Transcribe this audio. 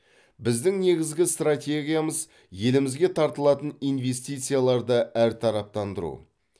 біздің негізгі стратегиямыз елімізге тартылатын инвестицияларды әртараптандыру